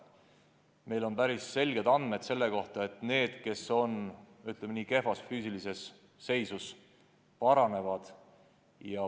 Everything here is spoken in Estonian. Meil on päris konkreetsed andmed selle kohta, et kehvas füüsilises seisus noorte võimed paranevad.